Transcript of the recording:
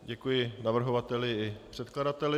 Děkuji navrhovateli i předkladateli.